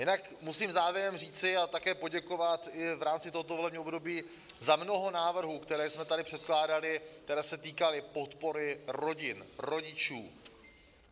Jinak musím závěrem říci a také poděkovat i v rámci tohoto volebního období za mnoho návrhů, které jsme tady předkládali, které se týkaly podpory rodin, rodičů.